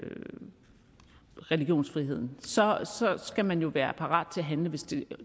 religionsfriheden så skal man jo være parat til at handle hvis det